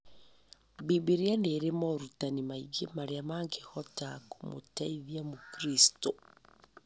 Bibilia nĩĩrĩ moorutani maingĩ marĩa mangĩhota kũmũteithia mũkristo